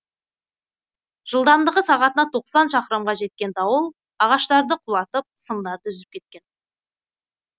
жылдамдығы сағатына тоқсан шақырымға жеткен дауыл ағаштарды құлатып сымдарды үзіп кеткен